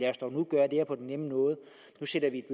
her på den nemme måde nu sender vi